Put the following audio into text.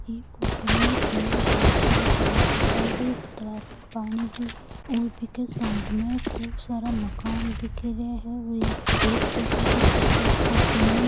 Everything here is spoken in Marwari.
यह फोटो में एक बहुत बड़ा दिखायेड़ो है तालाब का पानी भी है और बीके साइड में बहुत सारा मकान दिख रहा है और पेड़ पोधा भी दिख रहा है और कन --